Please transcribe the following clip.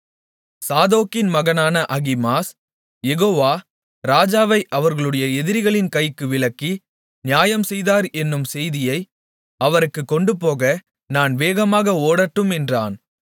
சாதோக்கின் மகனான அகிமாஸ் யெகோவா ராஜாவை அவர்களுடைய எதிரிகளின் கைக்கு விலக்கி நியாயம் செய்தார் என்னும் செய்தியை அவருக்குக் கொண்டுபோக நான் வேகமாக ஓடட்டும் என்றான்